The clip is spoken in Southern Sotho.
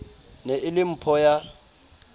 ne e le mpho ya